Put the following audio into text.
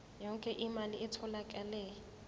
yonke imali etholakele